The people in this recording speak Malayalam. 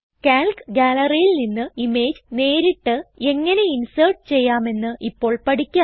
കാൽക്ക് Galleryൽ നിന്ന് ഇമേജ് നേരിട്ട് എങ്ങനെ ഇൻസേർട്ട് ചെയ്യാമെന്ന് ഇപ്പോൾ പഠിക്കാം